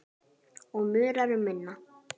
Og munar um minna.